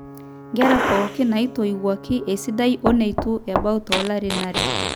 nkera pooki naatoiwuoki esidai oneitu ebau toolarin aare